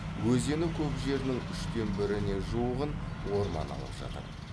өзені көп жерінің үштен біріне жуығын орман алып жатыр